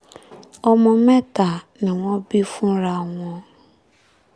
ọmọ mẹ́ta ni wọ́n bí fúnra wọn